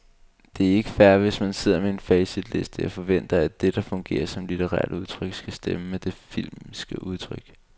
Det er ikke fair, hvis man sidder med en facitliste og forventer, at det, der fungerer som litterært udtryk, skal stemme med det filmiske udtryk.